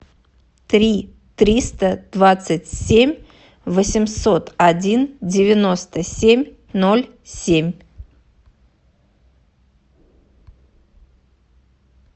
три триста двадцать семь восемьсот один девяносто семь ноль семь